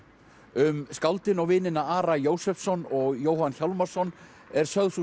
um skáldin og vinina Ara Jósefsson og Jóhann Hjálmarsson er sögð sú